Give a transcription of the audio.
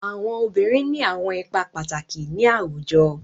Awọn obirin ni awọn ipa pataki ni awujọ